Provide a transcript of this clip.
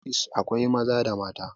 nurses akwai Maza da mata